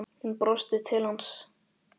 Hún brosti til hans.